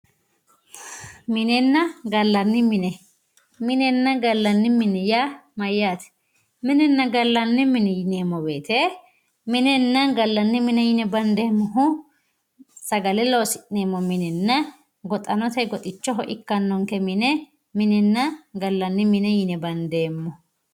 minenna galanni mine minenna galanni mine yaa mayaate minenna gallanni mine yineemo woyiite minenna gallanni mine bandeemohu sagale loosi'neemo minenna goxanote goxichoho ikkanonke mine minenna gallanni mine bandeemo